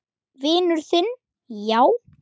Vinur þinn, já?